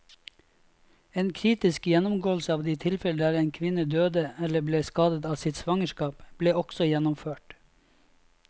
En kritisk gjennomgåelse av de tilfellene der en kvinne døde eller ble skadet av sitt svangerskap, ble også gjennomført.